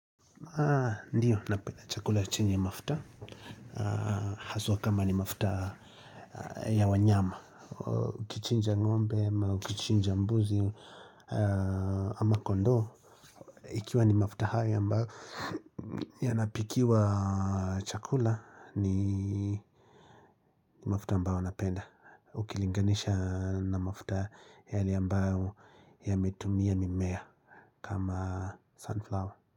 Ndiyo, napenda chakula chini ya mafuta, haswa kama ni mafuta ya wanyama, ukichinja ngombe ama ukichinja mbuzi, ama kondoo, ikiwa ni mafuta haya ambayo yanapikiwa chakula ni mafuta ambao napenda, ukilinganisha na mafuta yale ambayo yametumia mimea kama sunflower.